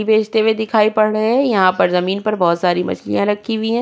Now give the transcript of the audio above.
बेचते हुए दिखाई पड़ रहे हैं। यहाँ पर जमीन पर बोहोत सारी मछलियां रखी हुई हैं।